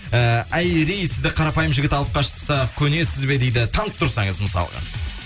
ііі айри сізді қарапайым жігіт алып қашса көнесіз бе дейді танып тұрсаңыз мысалға